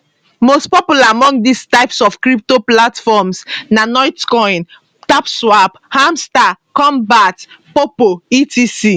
most popular among dis types of crypto platforms na notcoin tapswap hamstar kombat poppo etc